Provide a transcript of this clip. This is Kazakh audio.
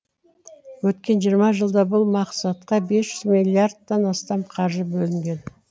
өткен жиырма жылда бұл мақсатқа бес жүз миллиардтан астам қаржы бөлінген